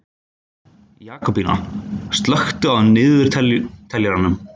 Jakobína, slökktu á niðurteljaranum.